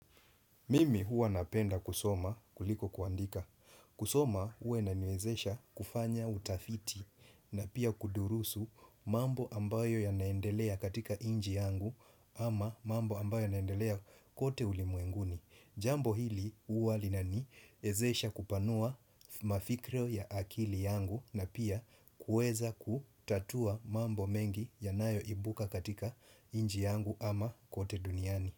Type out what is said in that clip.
Mimi huwa napenda kusoma kuliko kuandika. Kusoma huwa inaniwezesha kufanya utafiti na pia kudurusu mambo ambayo yanaendelea katika nchi yangu ama mambo ambayo ya naendelea kote ulimwenguni. Jambo hili huwa linani ezesha kupanua mafikira ya akili yangu na pia kueza kutatua mambo mengi yanayo ibuka katika nchi yangu ama kote duniani.